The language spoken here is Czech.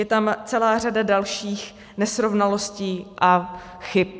Je tam celá řada dalších nesrovnalostí a chyb.